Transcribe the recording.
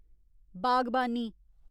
बागबानी